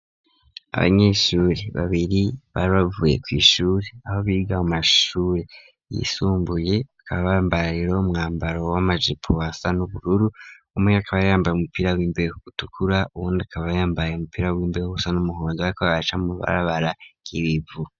Abanyeshuri babiri bari bavuye kw'ishuri aho biga mu mashuri yisumbuye bakaba bambara rero umwambaro w'amajipo asa n'ubururu umwe akaba yambaye umupira w'imbeho utukura uwundi akaba yambaye umupira w'imbeho usa n'umuhondo bariko baraca mw'ibarabara ry'ibivu.